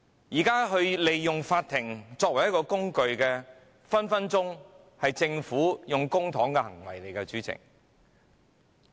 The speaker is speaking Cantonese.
至於利用法庭作為工具，這隨時是政府花費公帑的行為，主席......